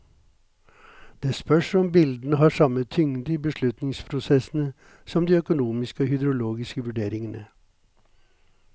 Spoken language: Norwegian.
Det spørs om bildene har samme tyngde i beslutningsprosessene som de økonomiske og hydrologiske vurderingene.